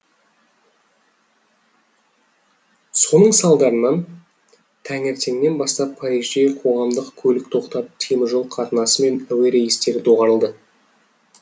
соның салдарынан таңертеңнен бастап парижде қоғамдық көлік тоқтап теміржол қатынасы мен әуе рейстері доғарылды